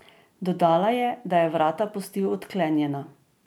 Dodala je, da je vrata pustil odklenjena.